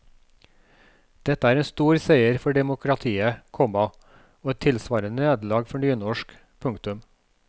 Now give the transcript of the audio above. Dette er en stor seier for demokratiet, komma og et tilsvarende nederlag for nynorsk. punktum